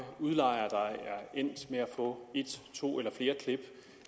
udlejere der er endt med at få et to eller flere klip